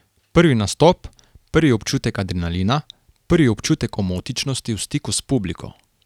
Prvi nastop, prvi občutek adrenalina, prvi občutek omotičnosti v stiku s publiko.